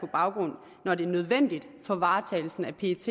baggrund når det er nødvendigt for varetagelsen af pets